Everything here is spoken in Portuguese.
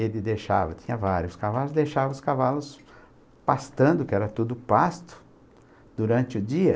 Ele deixava, tinha vários cavalos, deixava os cavalos pastando, que era tudo pasto, durante o dia.